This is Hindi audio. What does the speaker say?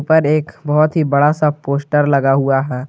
ऊपर एक बहुत ही बड़ा सा पोस्टर लगा हुआ है।